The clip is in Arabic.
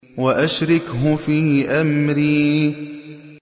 وَأَشْرِكْهُ فِي أَمْرِي